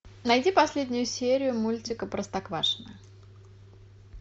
найди последнюю серию мультика простоквашино